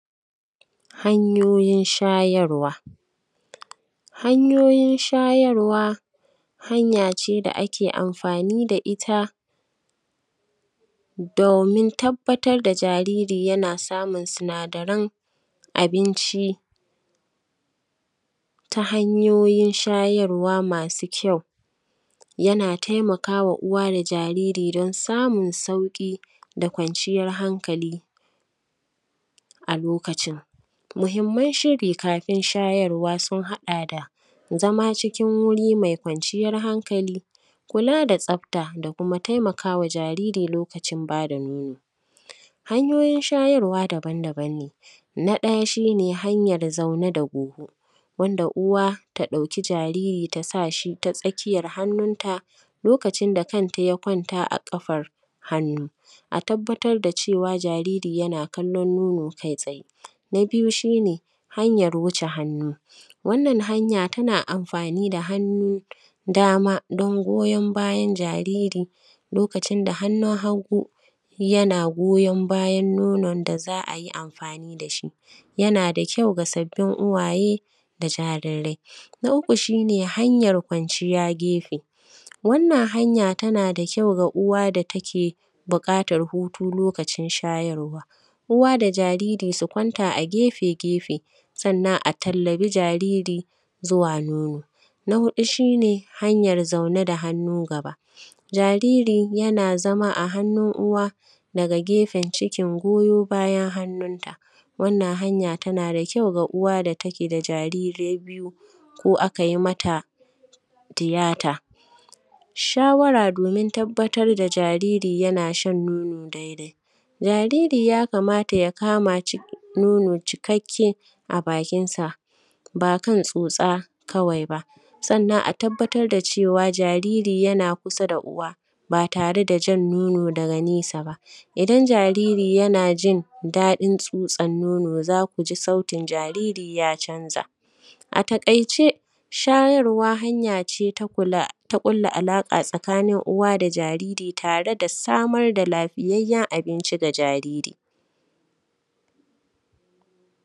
hanyoyin shayarwa hanyoyin shayarwa hanya ce da ake amfani da ita domin tabbatar da jariri yana samun sinadarin abinci ta hanyoyin shayarwa masu kyau yana taimaka wa uwa da jariri don samun sauƙi da kwanciyar hankali a lokacin muhimman shiri kafin shayarwa sun haɗa da zama cikin wuril mai kwanciyar hankali kula da tsafta da kuma taimakawa jariri lokacin ba da nono hanyoyin shayarwa daban daban ne na ɗaya shine hanyar zaune da goho wanda uwa ta dauki jariri ta sa shi ta tsakiyar hannunta lokacin da kanta ya kwanta a ƙafar hannu a tabbatar da cewa jariri yana kallon nono kai tsaye na biyu shine hanyar wuce hannu wannan hanya tana amfani da hannun dama don goyon bayan jariri lokacin da hannun haggu yana goyon bayan nonon da za ai amfani da shi ya na da kyau ga sabbin uwaye da jarirai na uku shine hanyar kwanciya gefe wannan hanya tana da kyau ga uwa da take buƙatan hutu lokacin shayarwa uwa da jariri su kwanta a gefe gefe sannan a tallabi jariri zuwa nono na huɗu shine hanyar zaune da hannu gaba jariri yana zama a hannun uwa daga gefen cikin goyo bayan hannun ta wannan hanya tana da kyau ga uwa da ta ke da jarirai biyu ko a kai mata tiyata shawara domin tabbatar da jariri yana shan nono dai dai jariri yakamata ya kama nono cikakke a bakinsa ban kan tsotsa kawai ba sannan a tabbatar da cewa jariri yana kusa da uwa ba tare da jan nono daga nesa ba idan jariri yana jin daɗin tsotsan nono za ku ji sauti jariri ya canza a taƙaice shayarwa hanya ce ta ƙulla alaƙa tsakanin uwa da jariri tare da samar da lafiyayyen abinci ga jariri